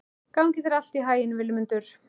Gangi þér allt í haginn, Vilmundur.